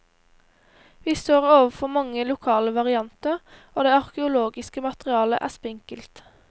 Vi står overfor mange lokale varianter, og det arkeologiske materialet er spinkelt.